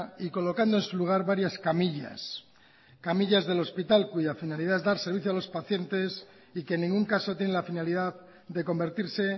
y colocando en su lugar varias camillas camillas del hospital cuya finalidad es dar servicio a los pacientes y que en ningún caso tiene la finalidad de convertirse